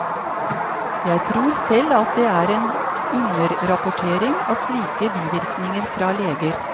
Jeg tror selv at det er en underrapportering av slike bivirkninger fra leger.